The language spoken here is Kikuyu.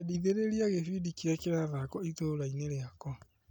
Endithĩrĩria gĩbindi kĩrĩa kĩrathakwo itũra-inĩ rĩakwa .